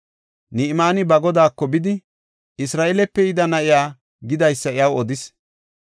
Ni7imaani ba godaako bidi, Isra7eelepe yida na7iya gidaysa iyaw odis.